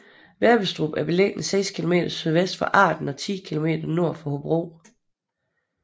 Vebbestrup er beliggende seks kilometer sydvest for Arden og 10 kilometer nord for Hobro